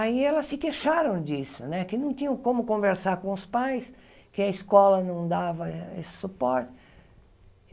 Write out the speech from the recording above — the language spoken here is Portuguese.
Aí elas se queixaram disso né, que não tinham como conversar com os pais, que a escola não dava esse suporte.